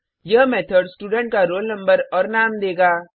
अब यह method student का रोल नंबर और नाम देगा